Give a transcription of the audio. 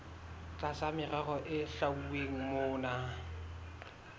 tlasa merero e hlwauweng mona